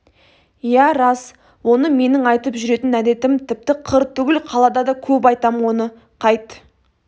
иә рас оны менің айтып жүретін әдетім тіпті қыр түгіл қалада да көп айтам оны қайт